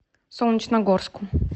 солнечногорску